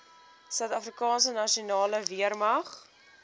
suidafrikaanse nasionale weermag